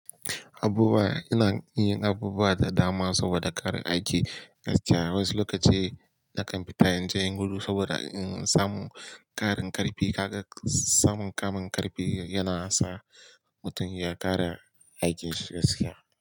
Abubuwa ina yin abubuwa da dama saboda ƙarin aiki gaskiya. Wasu lokaci nakan fita in je inyi gudu saboda in samu ƙarin ƙarfi. Kaga samun ƙarin ƙarfi yana sa mutum ya ƙara aikin shi gaskiya.